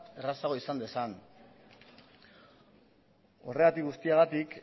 errazago izan dezan horregatik guztiagatik